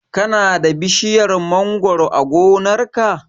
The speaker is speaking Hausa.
Ka na da bishiyar mangoro a gonar ka?